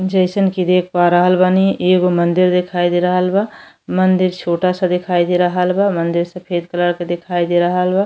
जइसन की देख पा रहल बानी एगो मंदिर दिखाई दे रहल बा। मंदिर छोटा-सा दिखाई दे रहल बा। मंदिर सफेद कलर क दिखाई दे रहल बा।